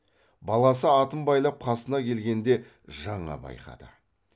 баласы атын байлап қасына келгенде жаңа байқады